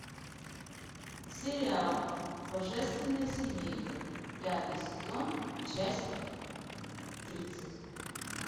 сериал божественная семейка пятый сезон часть тридцать